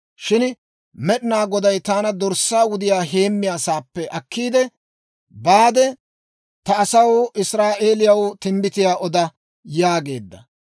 Shin Med'inaa Goday taana dorssaa wudiyaa heemmiyaa saappe akkiide, ‹Baade ta asaw Israa'eeliyaw timbbitiyaa oda› yaageedda.